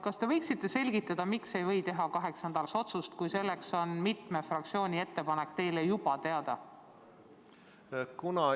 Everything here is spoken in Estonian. Kas te võiksite selgitada, miks ei või teha kaheks nädalaks otsust, kui selleks on mitme fraktsiooni ettepanek teile juba teada?